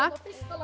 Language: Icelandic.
já